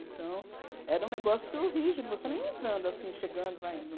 Então, era um negócio rígido, você não entrando assim, chegando, vai indo.